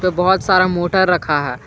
उसमें बहुत सारा मोटर रखा है।